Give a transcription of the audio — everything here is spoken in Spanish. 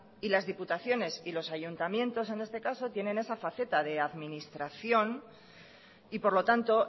y las diputaciones y los ayuntamientos en este caso tienen esa faceta de administración y por lo tanto